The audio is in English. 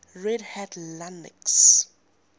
red hat linux